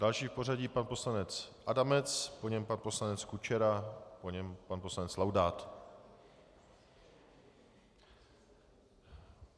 Další v pořadí pan poslanec Adamec, po něm pan poslanec Kučera, po něm pan poslanec Laudát.